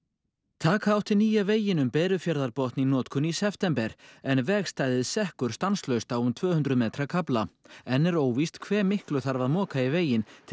taka átti nýja veginn um Berufjarðarbotn í notkun í september en vegstæðið sekkur stanslaust á um tvö hundruð metra kafla enn er óvíst hve miklu þarf að moka í veginn til